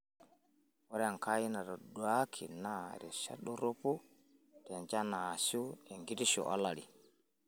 Ore enkai natoduaki naa rishat dorropu lenchan aashu enkitisho olari.